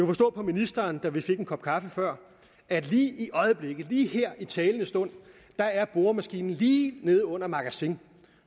forstå på ministeren da vi fik en kop kaffe før at lige i øjeblikket lige her i talende stund er boremaskinen lige neden under magasin